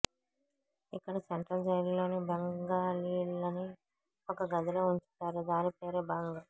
ఇక్కడ సెంట్రల్ జైలులో బెంగాలీలని ఒక గదిలో వుంచుతారు దానిపేరే బంగ్